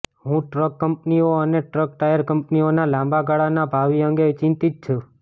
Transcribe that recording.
હું ટ્રક કંપનીઓ અને ટ્રક ટાયર કંપનીઓના લાંબા ગાળાના ભાવિ અંગે ચિંતિત છું